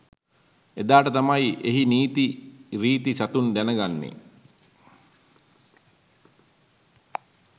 එදාට තමයි එහි නිරි සතුන් දැනගන්නේ